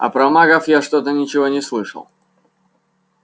а про магов я что-то ничего не слышал